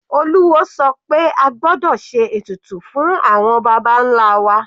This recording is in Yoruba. Olúwo sọ pé a gbọ́dọ̀ ṣe ètùtù fún àwọn baba nlá wa.